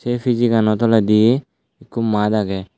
se piji gano toledi ekko mat agey.